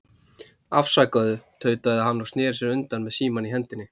Afsakaðu, tautaði hann og sneri sér undan með símann í hendinni.